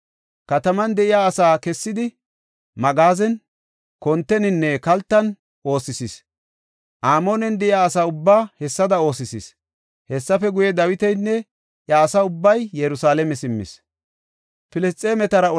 Kataman de7iya asaa kessidi magaazen, konteninne kaltan oosisis. Amoonen de7iya asa ubbaa hessada oosisis. Hessafe guye, Dawitinne iya asa ubbay Yerusalaame simmis.